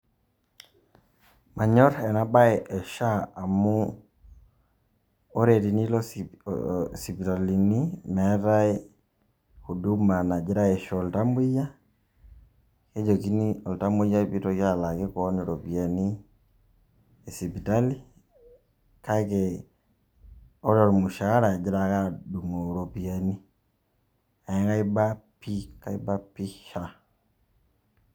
Manyor ena baye e SHA amu kore tenilo sip sipitalini meetai huduma nagirai aisho iltamueyia, nejokini oltamueyia piitoki alaaki keon iropiani e sipitali kake ore ormushaara egira ake adung'oo iropiani neeku aiba pii kaiba pii SHA.